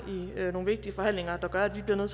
i nogle vigtige forhandlinger der gør at vi bliver nødt